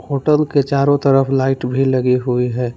Hotel के चारों तरफ लाइट भी लगी हुई है।